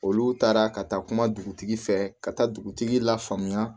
Olu taara ka taa kuma dugutigi fɛ ka taa dugutigi la famuya